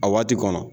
A waati kɔnɔ